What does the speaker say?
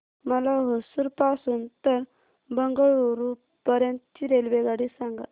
मला होसुर पासून तर बंगळुरू पर्यंत ची रेल्वेगाडी सांगा